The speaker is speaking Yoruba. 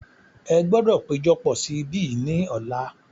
Ẹ gbọdọ̀ péjọpọ̀ sí ibí yìí ni ọ̀la.